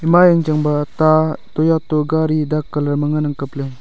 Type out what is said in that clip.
ema yang chang ba ta toyata gari ta ngan ang kaple.